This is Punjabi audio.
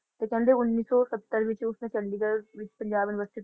ਤੇ ਕਹਿੰਦੇ ਉੱਨੀ ਸੌ ਸੱਤਰ ਦੇ ਵਿੱਚ ਉਸਨੇ ਚੰਡੀਗੜ੍ਹ ਵਿੱਚ punjab university